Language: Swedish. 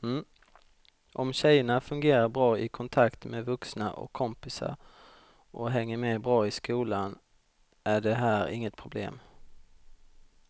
Om tjejerna fungerar bra i kontakt med vuxna och kompisar och hänger med bra i skolan är det här inget problem.